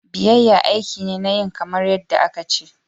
Biyayya aiki ne na yin kamar yadda aka ce.